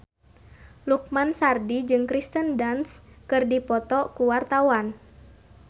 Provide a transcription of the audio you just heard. Lukman Sardi jeung Kirsten Dunst keur dipoto ku wartawan